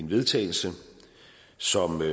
vedtagelse som man